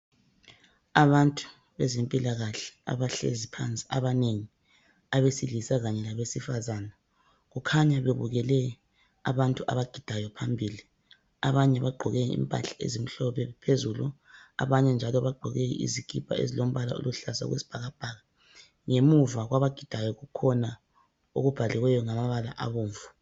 Abantu bezempilakahle abahlezi phansi abanengi abesilisa kanye labesifazana kukhanya bebukele abantu abagidayo phambili abanye bagqoke impahla ezimhlophe phezulu abanye njalo bagqoke izikipa ezilombala oluhlaza okwesibhakabhaka ngemuva kwabagidayo kukhona okubhaliweyo ngamabala abomvu.